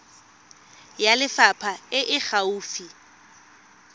ya lefapha e e gaufi